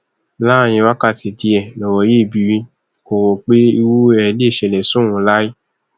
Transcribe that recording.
láàrin wákàtí díẹ lọrọ yí bírí kò rò pé irú ẹ lè ṣẹlẹ sóun láé